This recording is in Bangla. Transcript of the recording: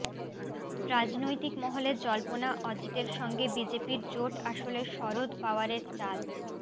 রাজনৈতিক মহলে জল্পনা অজিতের সঙ্গে বিজেপির জোট আসলে শরদ পওয়ারের চাল